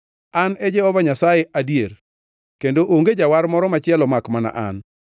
An e Jehova Nyasaye adier, kendo onge jawar moro machielo makmana an.